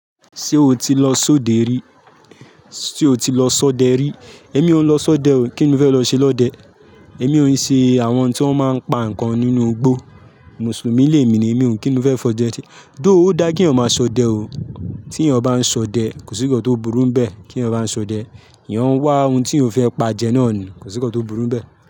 Ṣé o ti lọ ṣodẹ rí? Sé o ti lọ ṣọdẹ rí? Èmi ò lọ ṣọdẹ o. Kí ni o fẹ lọ ṣe lọ dẹ? Èmi ò ṣe àwọn tí wọ́n máa ń pa nǹkan nínú igbó. Mùsùlùmí lè mí ni, èmi ò ní. Kí ni o fẹ fọ dẹ ti-- though ó dá kí ọmọ ṣọdẹ o. Tí èèyàn bá n ṣọdẹ, kò sí nkàn tí ó burú bẹ. Kí èèyàn bá n ṣọdẹ, eeyan ń wá ohun tí o fẹ pa jẹ náà ni, kò sí nkàn tí ó burú bẹ.